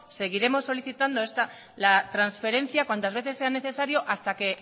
seguiremos solicitando la transferencia cuantas veces sea necesario hasta que